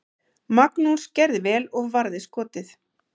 Magnús gerði vel og varði skotið.